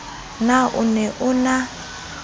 na o ne o na